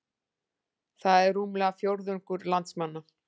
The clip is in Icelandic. Það er rúmlega fjórðungur landsmanna